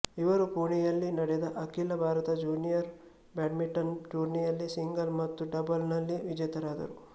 ಇವರು ಪೂಣೆಯಲ್ಲಿ ನೆಡೆದ ಅಖಿಲ ಭಾರತ ಜೂನಿಯರ್ ಬ್ಯಾಡ್ಮಿಂಟನ್ ಟೂರ್ನಿಯಲ್ಲೂ ಸಿಂಗಲ್ಸ್ ಮತ್ತು ಡಬಲ್ಸ್ ನಲ್ಲಿ ವಿಜೇತರಾದರು